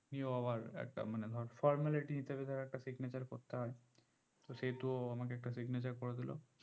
উনিও আবার একটা মানে ধর formality হিসেবে ধর একটা signature করতে হয় তো সেহুতু আমাকে একটা signature করে দিলো